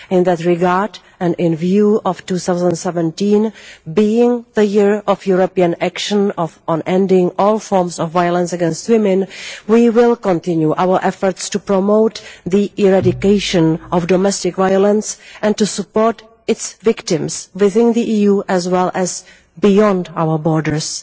In that regard, and in view of 2017 being the Year of European Action on Ending all Forms of Violence against Women, we will continue our efforts to promote the eradication of domestic violence and to support its victims within the EU as well as beyond our borders.